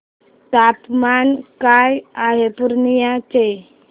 तापमान काय आहे पूर्णिया चे